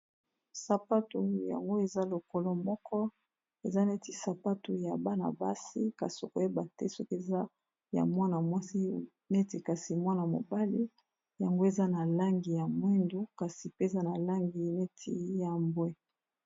sapatu yango eza lokolo moko eza neti sapatu ya bana-basi kasi okoyeba te soki eza ya mwana mwasi neti kasi mwana mobali yango eza na langi ya mwindu kasi pe eza na langi neti ya mbwe